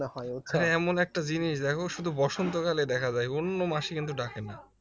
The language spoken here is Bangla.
হ্যাঁ এমন একটা জিনিস দেখো শুধু বসন্তকালে দেখা যায় অন্য মাসে কিন্তু ডাকে না